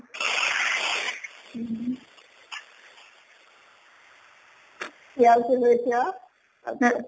পিয়াজ টো হৈছে আৰু